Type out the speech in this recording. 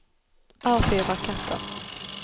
avfyr raketter